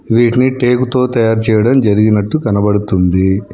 వీటిని టేకుతో తయారు చేయడం జరిగినట్టు కనబడుతుంది.